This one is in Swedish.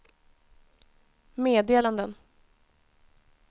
meddelanden